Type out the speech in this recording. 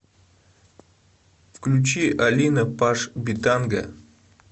включи алина паш битанга